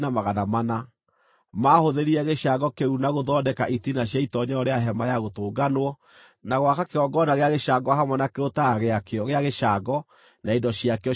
Maahũthĩrire gĩcango kĩu na gũthondeka itina cia itoonyero rĩa Hema-ya-Gũtũnganwo, na gwaka kĩgongona gĩa gĩcango hamwe na kĩrũtara gĩakĩo gĩa gĩcango na indo ciakĩo ciothe,